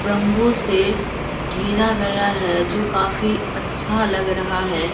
Bamboo से घेरा गया है जो काफी अच्छा लग रहा है।